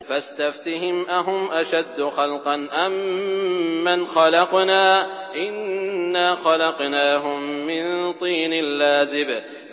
فَاسْتَفْتِهِمْ أَهُمْ أَشَدُّ خَلْقًا أَم مَّنْ خَلَقْنَا ۚ إِنَّا خَلَقْنَاهُم مِّن طِينٍ لَّازِبٍ